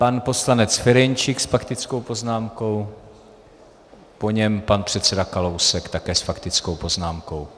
Pan poslanec Ferjenčík s faktickou poznámkou, po něm pan předseda Kalousek také s faktickou poznámkou.